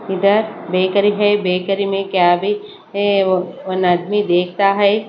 इधर बेकरी है बेकरी में क्या विच है वो वो आदमी देखता है।